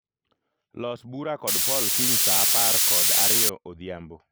Los bura kod Paul kiny saa apar kod ariyo odhiambo